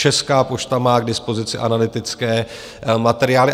Česká pošta má k dispozici analytické materiály.